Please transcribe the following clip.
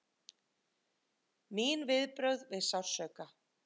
Mín viðbrögð við sársauka!